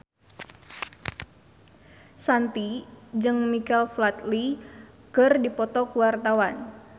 Shanti jeung Michael Flatley keur dipoto ku wartawan